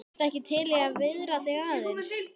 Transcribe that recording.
Ertu ekki til í að viðra þig aðeins?